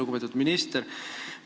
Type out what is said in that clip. Lugupeetud minister!